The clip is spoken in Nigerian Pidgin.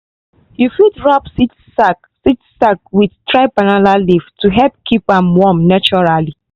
you fit wrap seed sack seed sack with dry banana leaf to help keep am warm naturally.